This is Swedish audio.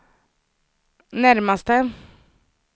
närmaste